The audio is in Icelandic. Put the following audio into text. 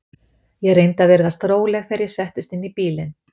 Ég reyndi að virðast róleg þegar ég settist inn í bílinn.